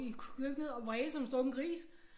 I køkkenet og vrælede som en stukket gris